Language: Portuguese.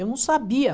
Eu não sabia.